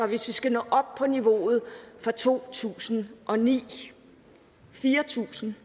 hvis vi skal nå op på niveauet for to tusind og ni fire tusind